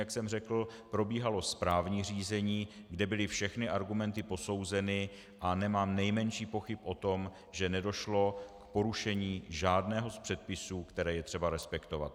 Jak jsem řekl, probíhalo správní řízení, kde byly všechny argumenty posouzeny, a nemám nejmenších pochyb o tom, že nedošlo k porušení žádného z předpisů, které je třeba respektovat.